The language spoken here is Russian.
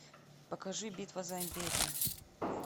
покажи битва за империю